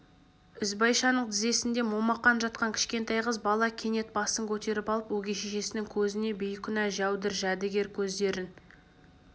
ізбайшаның тізесінде момақан жатқан кішкентай қыз бала кенет басын көтеріп алып өгей шешесінің көзіне бейкүнә жәудір жәдігер көздерін